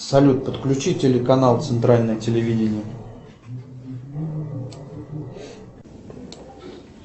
салют подключи телеканал центральное телевидение